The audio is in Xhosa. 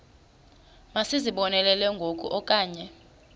masizibonelele ngoku okanye